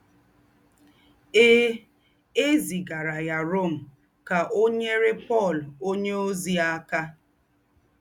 È È zìgàrà yá Rom ká ò nyérè Pọ̀l ònyèózì àká.